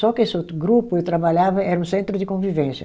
Só que esse outro grupo, eu trabalhava, era um centro de convivência.